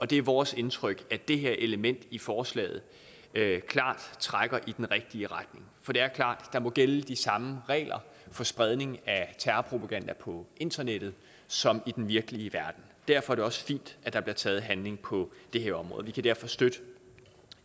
det er vores indtryk at det her element i forslaget klart trækker i den rigtige retning for det er klart at der må gælde de samme regler for spredning af terrorpropaganda på internettet som i den virkelige verden derfor er det også fint at der bliver taget handling på det her område vi kan derfor støtte